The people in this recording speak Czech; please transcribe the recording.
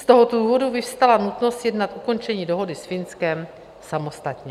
Z toho důvodu vyvstala nutnost sjednat ukončení dohody s Finskem samostatně.